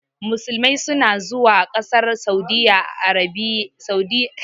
Musulmai su na zuwa ƙasar saudi arabiya gudanar da aikin hajji